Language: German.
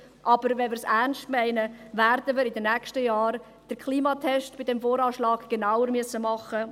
Aber wenn wir es ernst meinen, werden wir in den nächsten Jahren den Klimatest beim VA genauer nehmen müssen.